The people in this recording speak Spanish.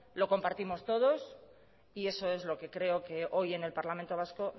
lo compartimos todos y eso es lo que creo que hoy en el parlamento vasco